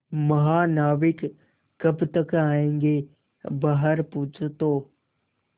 महानाविक कब तक आयेंगे बाहर पूछो तो